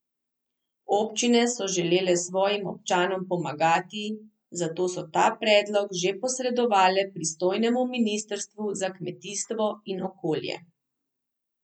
Občine so želele svojim občanom pomagati, zato so ta predlog že posredovale pristojnemu ministrstvu za kmetijstvo in okolje.